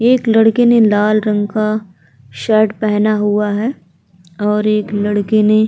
एक लड़के ने लाल रंग का शर्ट पहना हुआ है और एक लड़के ने --